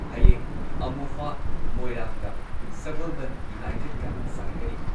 ꯍꯌꯦꯡ ꯑꯃꯣꯐꯥ ꯃꯣꯏꯔꯥꯡꯒ ꯁꯒꯣꯜꯕꯟ ꯌꯨꯅꯥꯏꯇꯦꯗꯀ ꯁꯥꯟꯅꯒꯅꯤ꯫